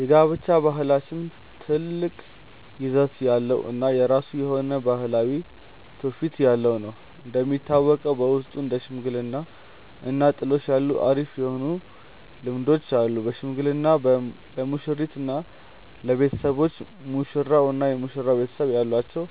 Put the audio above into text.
የጋብቻ ባህላችን ትልቅ ይዘት ያለው እና የራሱ የሆነ ባህላዊ ትውፊት ያለው ነው። እንደሚታወቀው በውስጡ እንደ ሽምግልና እና ጥሎሽ ያሉ አሪፍ የሆኑ ልምዶች አሉን። በሽምግልና ለሙሽሪት እና ለቤተሰቦች፤ ሙሽራው እና የመሽራው ቤተሰብ ያላቸውን